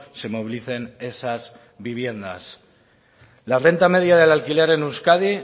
se movilicen esas viviendas la renta media del alquiler en euskadi